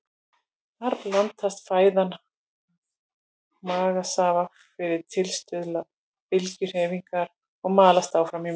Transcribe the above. Þar blandast fæðan magasafa fyrir tilstuðlan bylgjuhreyfinga og malast áfram í mauk.